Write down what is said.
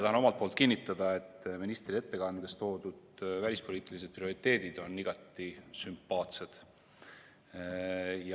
Tahan omalt poolt kinnitada, et ministri ettekandes toodud välispoliitilised prioriteedid on igati sümpaatsed.